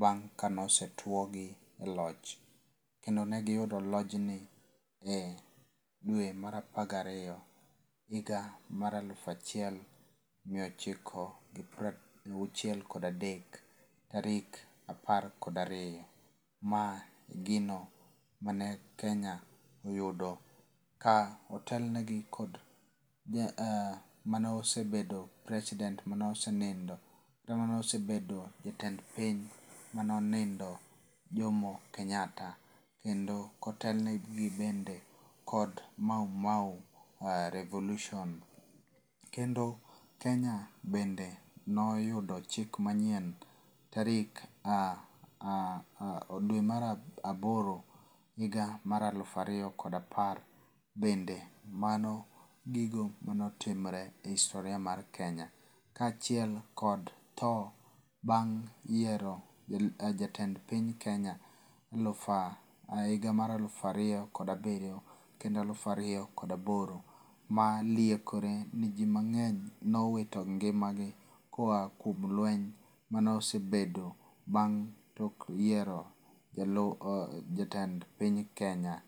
bang' kane osetuo gi e loch. Kendo ne giyudo lojni e dwe mar apar gariyo higa mar alufu achiel miochiko gi piero auchiel kod adek tarik apar kod ariyo. Ma gino mane Kenya oyudo ka otel negi kod ja manesobedo president mane osenindo kata mane osebedo jatend piny mane onindo Jomo Kenyatta kendo kotelnegi bende kod Mau Mau revolution. Kendo Kenya bende ne oyudo chik manyieln tari dwe mar aboro higa mar alufu ariyo kod apar. Bende mano gigo manetimre e historia mar Kenya kachiel kod tho bang' yiero jatend piny Kenya eluf higa mar elufu ariyo kod abiryo kendo alufu ariyo kod aboro ma liekore ni ji mang'eny ne owito ngima gi koa kuom lweny mane osebedo bang' tok yiero jatend piny Kenya.